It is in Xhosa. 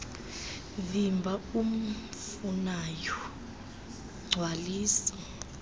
vimba umfunayo gcwalisa